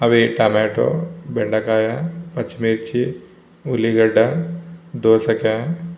అవి టొమాటో బెండకాయ పచ్చిమిర్చి ఉల్లిగడ్డ దోసకాయ --